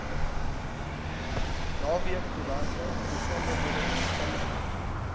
naweekkoerante besonderhede verstrek